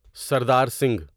Sardar Singh